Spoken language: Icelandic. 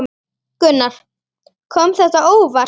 Gunnar: Kom þetta á óvart?